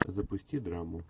запусти драму